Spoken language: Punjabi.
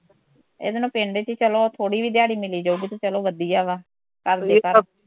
ਇਹਦੇ ਨਾਲੋਂ ਪਿੰਡ ਚ ਈ ਚਲੋ ਥੋੜੀ ਵੀ ਦਿਆੜੀ ਮਿਲੀ ਜਾਊਗੀ ਤੇ ਚਲੋ ਵਧੀਆ ਵਾਂ ਕੱਲ ਵੀ